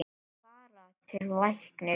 Fara til læknis?